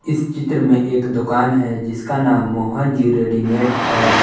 इस चित्र में एक दुकान है जिसका नाम मोहन जी रेडीमेड है।